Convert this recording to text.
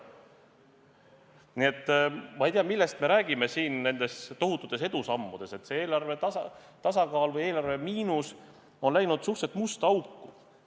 Nii et ma ei tea, millest me räägime siin, kui on juttu tohututest edusammudest, sest see eelarve tasakaal või eelarve miinus on läinud suhteliselt musta auku.